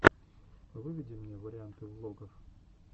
выведи мне варианты влогов